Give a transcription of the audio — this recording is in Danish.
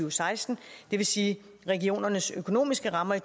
og seksten og det vil sige at regionernes økonomiske rammer i